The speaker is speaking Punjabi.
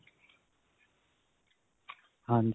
ਹਾਂਜੀ.